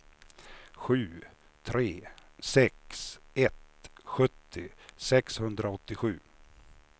sju tre sex ett sjuttio sexhundraåttiosju